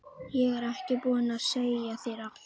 Ég er ekki búin að segja þér allt!